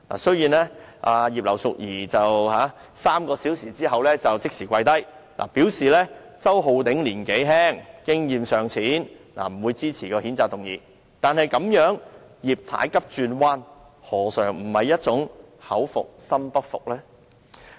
雖然葉劉淑儀議員在3小時後立即"跪低"，表示周議員年紀輕經驗尚淺，所以不會支持譴責議案，但這種"葉太急轉彎"，何嘗不是一種口服心不服的表現？